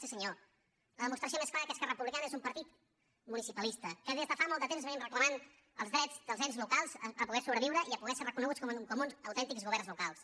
sí senyor la demostració més clara que esquerra republicana és un partit municipalista que des de fa molt de temps venim reclamant el dret dels ens locals a poder sobreviure i a poder ser reconeguts com uns autèntics governs locals